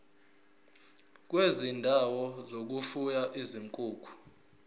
kwezindawo zokufuya izinkukhu